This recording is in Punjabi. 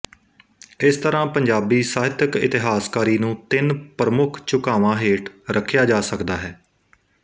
ਇਸ ਤਰ੍ਹਾਂ ਪੰਜਾਬੀ ਸਾਹਿਤਕ ਇਤਿਹਾਸਕਾਰੀ ਨੂੰ ਤਿੰਨ ਪ੍ਰਮੁੱਖ ਝੁਕਾਵਾਂ ਹੇਠ ਰੱਖਿਆ ਜਾ ਸਕਦਾ ਹੈ